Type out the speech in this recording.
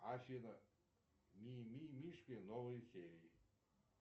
афина мимимишки новые серии